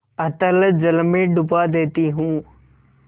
अतल जल में डुबा देती हूँ